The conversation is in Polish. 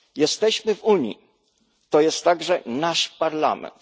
Jesteśmy w Unii, to jest także nasz Parlament.